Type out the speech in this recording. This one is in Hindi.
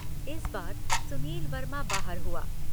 इस बार सुनील वर्मा बाहर हुआ।